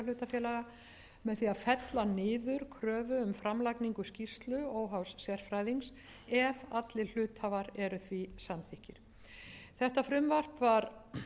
niður kröfu um framlagningu skýrslu óháðs sérfræðings ef allir hluthafar eru háttvirtir níu samþykkir þetta frumvarp var